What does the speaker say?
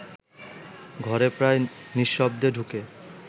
ঘরে প্রায় নিঃশব্দে ঢুকে